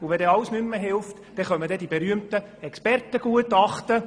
Wenn alles nicht mehr hilft, kommen die berühmten Expertengutachten.